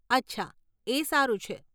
અચ્છા, એ સારું છે.